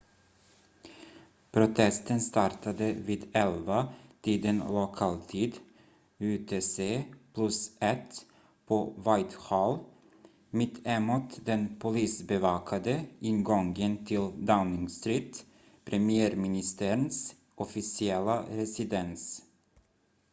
protesten startade vid 11-tiden lokal tid utc+1 på whitehall mitt emot den polisbevakade ingången till downing street premiärministerns officiella residens